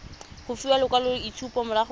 go fiwa lekwaloitshupo morago ga